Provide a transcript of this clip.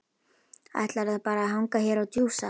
Ætlarðu bara að hanga hér og djúsa?